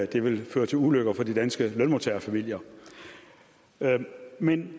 det vil føre til ulykker for de danske lønmodtagerfamilier men